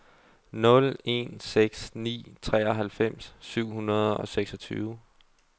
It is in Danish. nul en seks ni treoghalvfems syv hundrede og seksogtyve